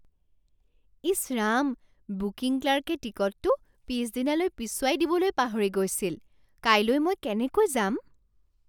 ইছ Ram! Booking ক্লাৰ্কে টিকটটো পিছদিনালৈ পিছুৱাই দিবলৈ পাহৰি গৈছিল। কাইলৈ মই কেনেকৈ যাম?